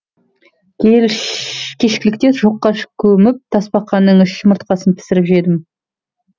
кешкілікте шоққа көміп тасбақаның үш жұмыртқасын пісіріп жедім